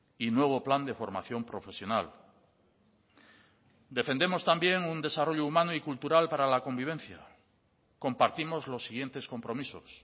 y nuevo plan de formación profesional defendemos también un desarrollo humano y cultural para la convivencia compartimos los siguientes compromisos